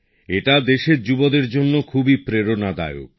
এটা দেশের যুবসম্প্রদায়ের জন্য খুবই প্রেরণাদায়ক